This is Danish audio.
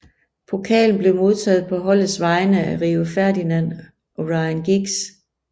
Pokalen blev modtaget på holdets vegne af Rio Ferdinand og Ryan Giggs